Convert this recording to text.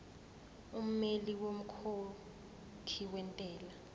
ummeli womkhokhi wentela